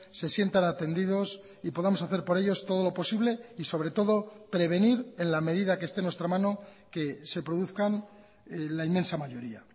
se sientan atendidos y podamos hacer por ellos todo lo posible y sobre todo prevenir en la medida que esté en nuestra mano que se produzcan la inmensa mayoría